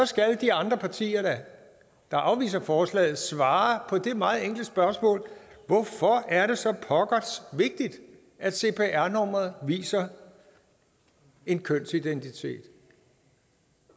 skal de andre partier der afviser forslaget da svare på det meget enkle spørgsmål hvorfor er det så pokkers vigtigt at cpr nummeret viser en kønsidentitet